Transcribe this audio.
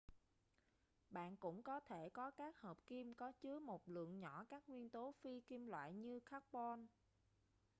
bạn cũng có thể có các hợp kim có chứa một lượng nhỏ các nguyên tố phi kim loại như carbon